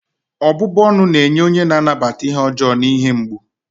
ọbụbụ ọnụ na-enye onye na-anata ihe ọjọọ na ihe mgbu